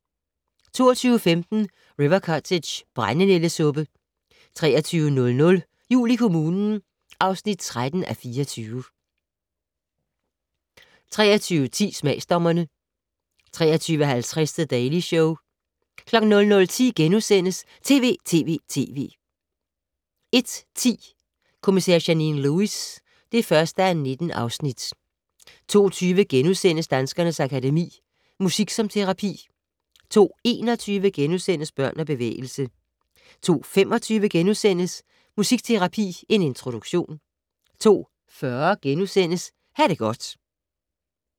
22:15: River Cottage - brændenældesuppe 23:00: Jul i kommunen (13:24) 23:10: Smagsdommerne 23:50: The Daily Show 00:10: TV!TV!TV! * 01:10: Kommissær Janine Lewis (1:19) 02:20: Danskernes Akademi: Musik som terapi * 02:21: Børn og bevægelse * 02:25: Musikterapi - en introduktion * 02:40: Ha' det godt *